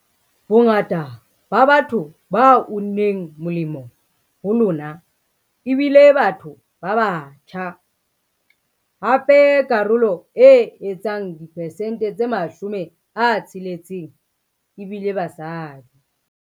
Bongata ba batho ba unneng molemo ho lona e bile batho ba batjha, hape karolo e etsang diperesente tse 60 e bile basadi.